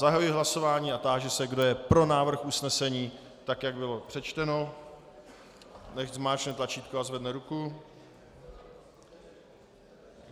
Zahajuji hlasování a táži se, kdo je pro návrh usnesení tak, jak bylo přečteno, nechť zmáčkne tlačítko a zvedne ruku.